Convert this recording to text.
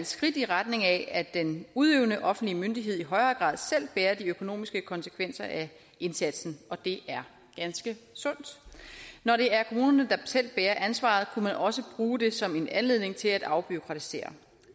skridt i retning af at den udøvende offentlige myndighed i højere grad selv bærer de økonomiske konsekvenser af indsatsen og det er ganske sundt når det er kommunerne der selv bærer ansvaret kunne man også bruge det som en anledning til at afbureaukratisere